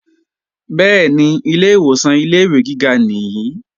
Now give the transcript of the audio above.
Bẹ́ẹ̀ni, ilè ìwòsàn ilé-ìwé gíga nìí